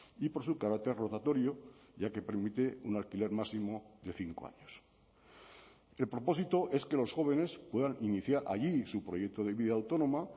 y por su carácter rotatorio ya que permite un alquiler máximo de cinco años el propósito es que los jóvenes puedan iniciar allí su proyecto de vida autónoma